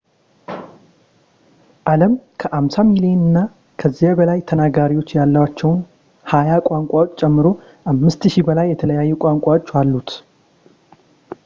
አለም ከ 50 ሚሊዮን እና ከዚያ በላይ ተናጋሪዎች ያሏቸውን ሀያ ቋንቋዎች ጨምሮ 5,000 በላይ የተለያዩ ቋንቋዎች አሉት